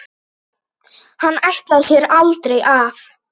Hann ætlaði sér aldrei af.